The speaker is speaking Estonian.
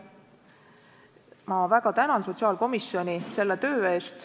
Ma väga tänan sotsiaalkomisjoni selle töö eest!